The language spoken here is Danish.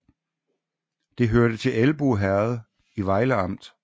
Det hørte til Elbo Herred i Vejle Amt